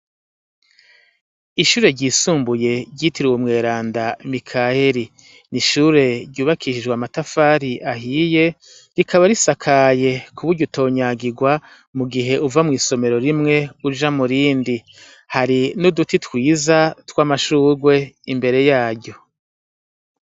Ishure ryisumbuye ryitiriwe umweranda Mikayeli. Ni ishure ryubakishijwe amatafari ahiye, rikaba risakaye ku buryo utonyagirwa mu gihe uva mw'isomero rimwe uja mu rindi. Hari n'uduti twiza tw'amashugwe imbere yaryo.